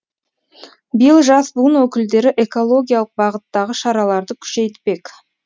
биыл жас буын өкілдері экологиялық бағыттағы шараларды күшейтпек